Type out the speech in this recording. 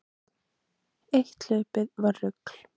Eitt hlaupið var rugl.